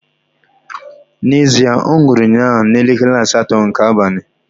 Na ezie, onwuru unnya na elekele asato nke abanyi